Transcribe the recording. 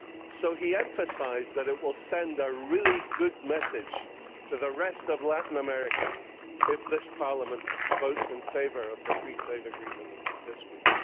So he emphasised that it will send a really good message to the rest of Latin America if this Parliament votes in favour of the Free Trade Agreement this week.